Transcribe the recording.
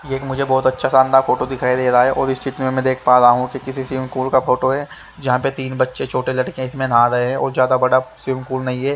ये एक मुझे बहोत अच्छा शानदार फोटो दिखाई दे रहा है और इस चित्र में मैं देख पा रहा हूं कि किसी स्विमिंग पूल का फोटो है जहां पे तीन बच्चे छोटे लड़के इसमें नहा रहे हैं और ज्यादा बड़ा स्विमिंग पूल नहीं है।